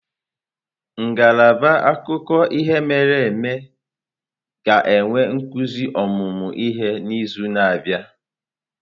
Ngalaba akụkọ ihe mere eme ga-enwe nzukọ ọmụmụ ihe n'izu na-abịa.